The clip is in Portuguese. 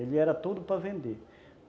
Ele era tudo para vender.